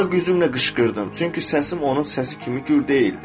Var gücümlə qışqırdım, çünki səsim onun səsi kimi gür deyildi.